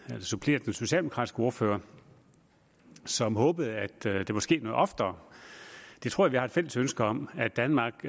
supplere den socialdemokratiske ordfører som håbede at det vil ske noget oftere jeg tror at vi har et fælles ønske om at danmark